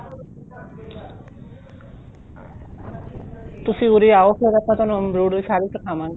ਤੁਸੀਂ ਉਰੇ ਆਓ ਫ਼ੇਰ ਆਪਾਂ ਤੁਹਾਨੂੰ embroil ਸਾਰੇ ਸਿਖਾਵਾਗੇ